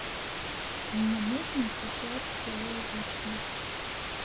мне нужно сейчас кило вишни